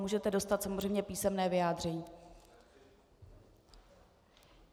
Můžete dostat samozřejmě písemné vyjádření.